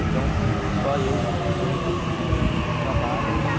Então, só eu fui representando o trabalho, né?